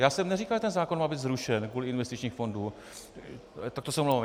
Já jsem neříkal, že ten zákon má být zrušen kvůli investičním fondům - tak to se omlouvám.